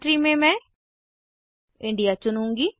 country में मैं India चुनूँगी